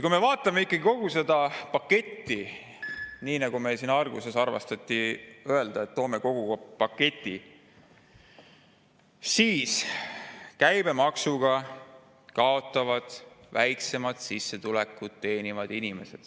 Kui me vaatame kogu seda paketti, nii nagu meil siin alguses armastati öelda, et toome kogu paketi, siis käibemaksuga kaotavad väiksemat sissetulekut teenivad inimesed.